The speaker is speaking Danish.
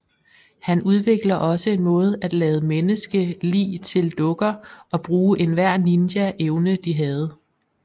Han udvikler også en måde at lade menneske lig til dukker og bruge enhver ninja evne de havde